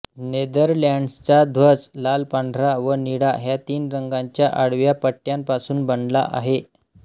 नेदरलँड्सचा ध्वज लालपांढरा व निळा ह्या तीन रंगांच्या आडव्या पट्ट्यांपासून बनला आहे